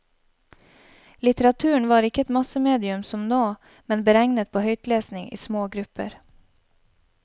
Litteraturen var ikke et massemedium som nå, men beregnet på høytlesning i små grupper.